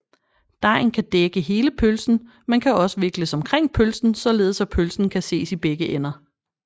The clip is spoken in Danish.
Dejen kan dække hele pølsen men kan også vikles omkring pølsen således at pølsen kan ses i begge ender